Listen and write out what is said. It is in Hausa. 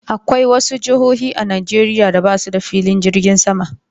Akwai wasu jihohi a Najeriya da basuda filin jirgin sama